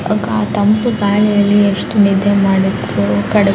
ಆ ತಂಪು ಗಾಳಿಯಲ್ಲಿ ಎಷ್ಟು ನಿದ್ದೆ ಮಾಡಿದ್ರು ಕಡಿಮೆ --